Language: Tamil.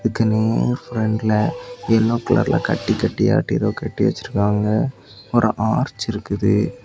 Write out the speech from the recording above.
இதுக்கு நேர் ஃப்ரெண்ட்ல எல்லோ கலர்ல கட்டி கட்டியாய்டு ஏதோ கட்டி வச்சிருக்காங்க ஒரு அர்ச் இருக்குது.